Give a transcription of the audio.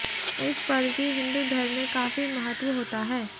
इस पर्व की हिंदू धर्म में काफी महत्व होता है